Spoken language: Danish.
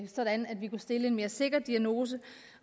sådan at vi kunne stille en mere sikker diagnose